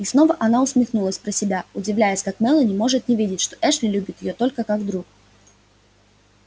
и снова она усмехнулась про себя удивляясь как мелани может не видеть что эшли любит её только как друг